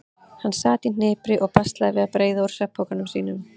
Hann sat í hnipri og baslaði við að breiða úr svefnpokanum sínum.